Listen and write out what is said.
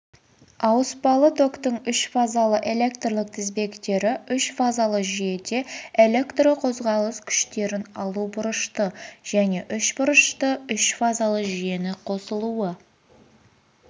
ауыспалы токтың үшфазалы электрлік тізбектері үшфазалы жүйеде электрқозғалыс күштерін алу бұрышты және үшбұрышты үшфазалы жүйені қосылуы